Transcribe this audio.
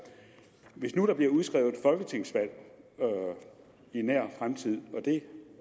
hvis nu der bliver udskrevet folketingsvalg i nær fremtid og det